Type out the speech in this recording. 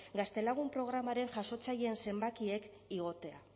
gaztelagun programaren jasotzaileen zenbakiek igotea